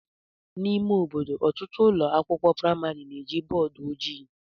N'ime ime obodo, ọtụtụ ụlọ akwụkwọ praịmarị na-eji bọọdụ ojii.